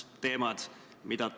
Läheme edasi.